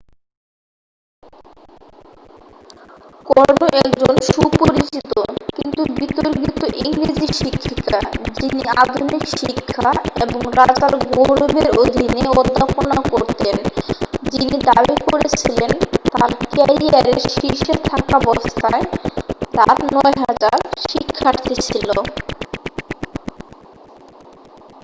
কর্নো একজন সুপরিচিত কিন্তু বিতর্কিত ইংরেজি শিক্ষিকা যিনি আধুনিক শিক্ষা এবং রাজার গৌরবের অধীনে অধ্যাপনা করতেন যিনি দাবি করেছিলেন তাঁর ক্যারিয়ারের শীর্ষে থাকাবস্থায় তাঁর 9000 শিক্ষার্থী ছিল